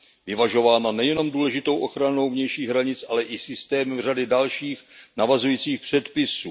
Vyvažována nejenom důležitou ochranou vnějších hranic, ale i systémem řady dalších navazujících předpisů.